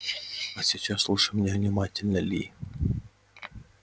а сейчас слушай меня внимательно ли